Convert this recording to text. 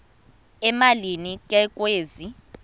emalini ke kwezi